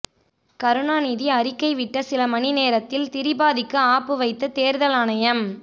கருணாநிதி அறிக்கை விட்ட சில மணி நேரத்தில் திரிபாதிக்கு ஆப்பு வைத்த தேர்தல் ஆணையம்